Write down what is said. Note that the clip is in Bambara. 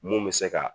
Mun bɛ se ka